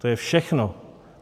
To je všechno.